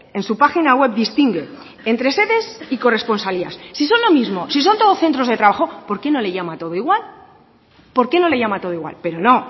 en su página web distingue entre sedes y corresponsalías si son lo mismo si son todos centros de trabajo por qué no le llama todo igual por qué no le llama todo igual pero no